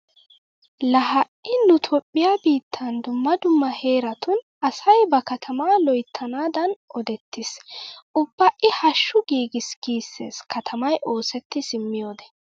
Laa ha"i nu toophphiya biittan dummma dumma heeratun asay ba katamaa loyttanaadan odettiis. Ubba i hashshu giigis giissees katamay oosetti simmiyode.